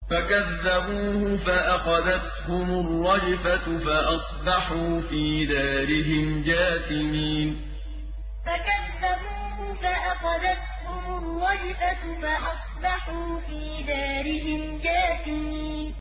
فَكَذَّبُوهُ فَأَخَذَتْهُمُ الرَّجْفَةُ فَأَصْبَحُوا فِي دَارِهِمْ جَاثِمِينَ فَكَذَّبُوهُ فَأَخَذَتْهُمُ الرَّجْفَةُ فَأَصْبَحُوا فِي دَارِهِمْ جَاثِمِينَ